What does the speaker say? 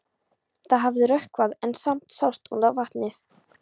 Það hafði rökkvað en samt sást út á vatnið.